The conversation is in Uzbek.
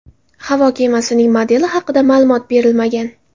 Havo kemasining modeli haqida ma’lumot berilmagan.